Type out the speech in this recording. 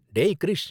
டேய் க்ரிஷ்!